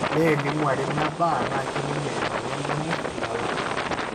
neninguari meeba, na kiminie emoyian enyirt ilala.